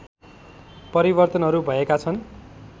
परिवर्तनहरू भएका छन्